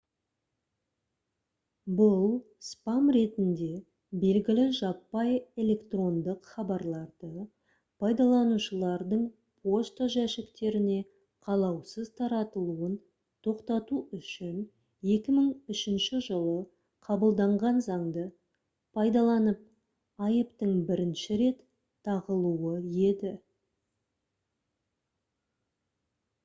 бұл «спам» ретінде белгілі жаппай электрондық хабарларды пайдаланушылардың пошта жәшіктеріне қалаусыз таратылуын тоқтату үшін 2003 жылы қабылданған заңды пайдаланып айыптың бірінші рет тағылуы еді